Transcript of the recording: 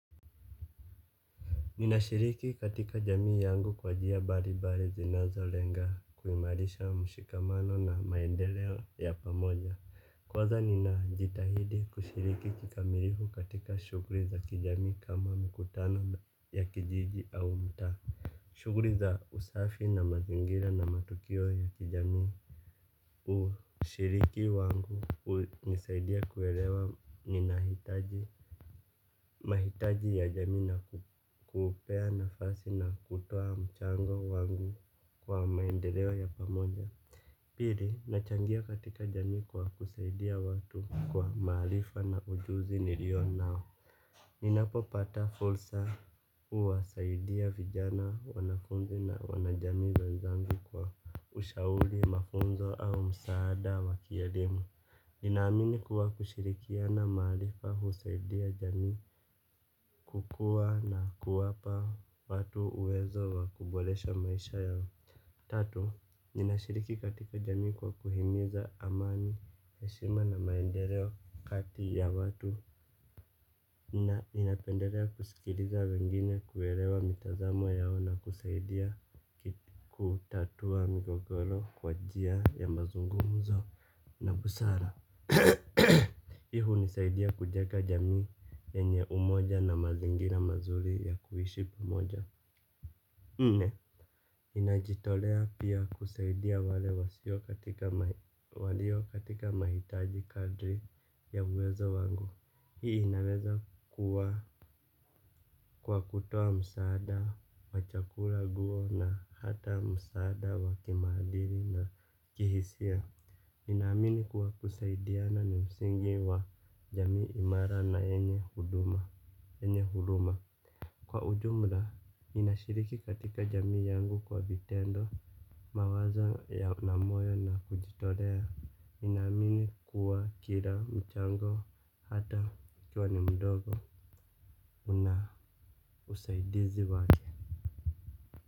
Ninashiriki katika jamii yangu kwa njia mbali mbali zinazo lenga kuimarisha mshikamano na maendeleo ya pamoja. Kwanza ninajitahidi kushiriki kikamilifu katika shughuli za kijamii kama mkutano ya kijiji au mtaa. Shughuli za usafi na mazingira na matukio ya kijamii ushiriki wangu unanisaidia kuelewa ninahitaji mahitaji ya jamii na kuupea nafasi na kutoa mchango wangu kwa maendeleo ya pamoja. Pili, nachangia katika jamii kwa kusaidia watu kwa maarifa na ujuzi nilio nao. Ninapopata fursa huwasaidia vijana, wanafunzi na wanajamii wenzangu kwa ushauli, mafunzo au msaada wa kielimu. Ninaamini kuwa kushirikiana maarifa husaidia jamii kukua na kuwapa watu uwezo wa kuboresha maisha yao. Tatu, ninashiriki katika jamii kwa kuhimiza amani, heshima na maendeleo kati ya watu. Na ninapendelea kusikiliza wengine kuelewa mitazamo yao na kusaidia kutatua migogoro kwa njia ya mazungumuzo na busara. Hunisaidia kujenga jamii yenye umoja na mazingira mazuri ya kuishi pamoja. Nne, ninajitolea pia kusaidia wale wasio katika walio katika mahitaji kadri ya uwezo wangu. Hii inaweza kuwa kwa kutoa msaada wa chakula nguo na hata msaada wa kimaadili na kihisia. Ninaamini kuwa kusaidiana ni msingi wa jamii imara na yenye huduma, yenye huruma. Kwa ujumla, ninashiriki katika jamii yangu kwa vitendo. Mawazo na moyo na kujitolea ninaamini kwa kila mchango hata ukiwa ni mdogo. Una usaidizi wake.